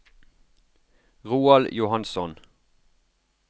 Roald Johansson